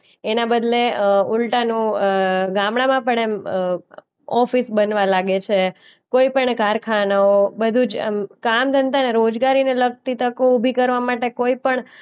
એના બદલે અ ઉલટાનું અ ગામડાંમાં પણ એમ અ ઓ ઓફિસ બનવા લાગે છે. કોઈ પણ કારખાનાઓ બધું જ એમ કામધંધાને રોજગારીને લગતી તકો ઉભી કરવા માટે કોઈ પણ